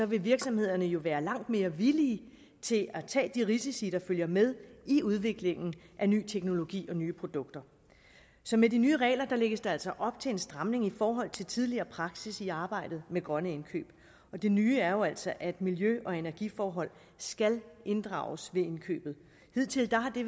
vil virksomhederne jo være langt mere villige til at tage de risici der følger med i udviklingen af ny teknologi og nye produkter så med de nye regler lægges der altså op til en stramning i forhold til tidligere praksis i arbejdet med grønne indkøb og det nye er jo altså at miljø og energiforhold skal inddrages ved indkøbet hidtil har det